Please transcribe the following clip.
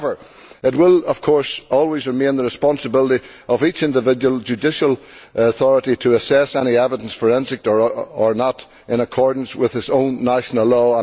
However, it will, of course, always remain the responsibility of each individual judicial authority to assess any evidence, forensic or not, in accordance with its own national law.